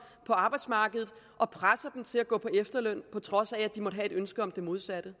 på arbejdsmarkedet og presser dem til at gå på efterløn på trods af at de måtte have et ønske om det modsatte